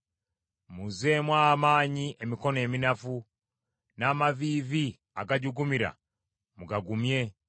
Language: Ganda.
Muzzeemu amaanyi emikono eminafu, n’amaviivi agajugumira mugagumye.